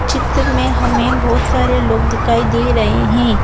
चित्र में हमें बहुत सारे लोग दिखाई दे रहे है।